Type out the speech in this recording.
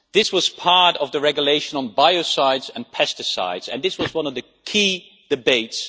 This was part of the regulation on biocides and pesticides and it was one of the key debates.